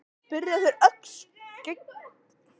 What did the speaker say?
spyrja þeir, ögn skelkaðir á hvössum orðum klerksins.